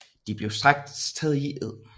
De blev straks taget i ed